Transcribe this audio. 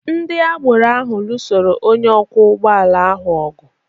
Ndị agboro ahụ lụsoro onye ọkwọ ụgbọala ahụ ọgụ.